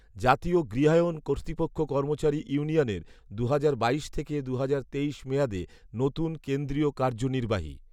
জাতীয় গৃহায়ন কর্তৃপক্ষ কর্মচারী ইউনিয়নের দুহাজার বাইশ থেকে দুহাজার তেইশ মেয়াদে নতুন কেন্দ্রীয় কার্যনির্বাহী